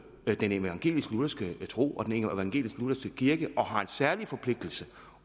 den evangelisk lutherske tro og den evangelisk lutherske kirke og har en særlig forpligtelse